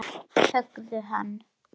Höggðu hann!